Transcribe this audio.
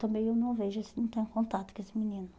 Também eu não vejo esse, não tenho contato com esse menino.